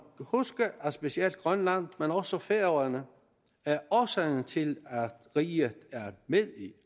huske at specielt grønland men også færøerne er årsagen til at riget er med i